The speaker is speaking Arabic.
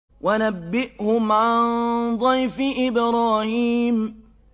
وَنَبِّئْهُمْ عَن ضَيْفِ إِبْرَاهِيمَ